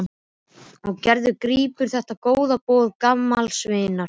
Og Gerður grípur þetta góða boð gamals vinar.